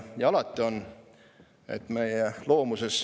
Ja alati on.